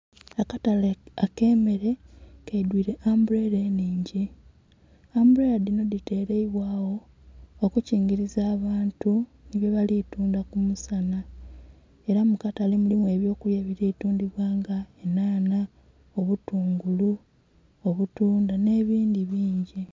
Akatale akemele kaidwire ambulera enhingi ambulera dhino dhiteleibwawo okukingiriza abantu byebali tundha kumusana era mukatale mulimu ebyokulya ebiri kutundhibwa nga enhanha, obutungulu, obutundha nebindhi bingi